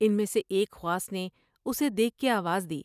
ان میں سے ایک خواص نے اسے دیکھ کے آواز دی ۔